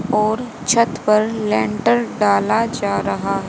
और छत पर लैटर डाला जा रहा है।